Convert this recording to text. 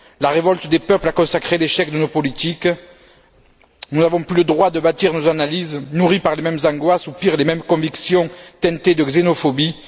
La révolte des peuples a consacré l'échec de nos politiques, nous n'avons plus le droit de bâtir nos analyses nourries par les mêmes angoisses ou, pire, les mêmes convictions teintées de xénophobie.